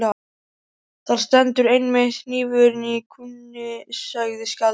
Þar stendur einmitt hnífurinn í kúnni, sagði skáldið.